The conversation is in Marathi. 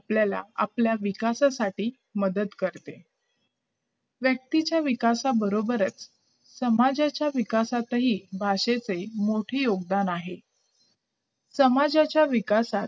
आपल्याला आपल्या विकासासाठी मदत करते व्यक्तीच्या विकासाबरोबरच समाजाच्या विकासाचेही भाषेचे मोठे योगदान आहे समाजाचा विकासात